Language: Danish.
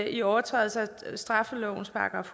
i overtrædelse af straffelovens §